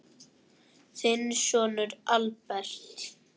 Þinn sonur, Albert.